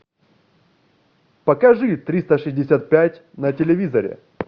покажи триста шестьдесят пять на телевизоре